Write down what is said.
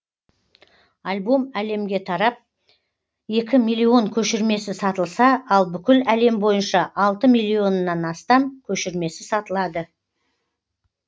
альбом әлемге тарап екі миллион көшірмесі сатылса ал бүкіл әлем бойынша алты миллионнан астам көшірмесі сатылады